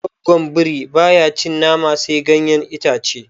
Goggon biri baya cin nama sai ganyen itace